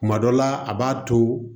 Kuma dɔ la a b'a to